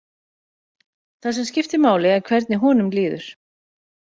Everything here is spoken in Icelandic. Það sem skiptir máli er hvernig honum líður.